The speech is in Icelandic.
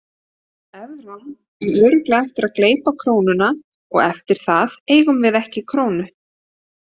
Evran á örugglega eftir að gleypa krónuna og eftir það eigum við ekki krónu.